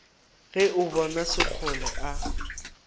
ge o bona sekgole a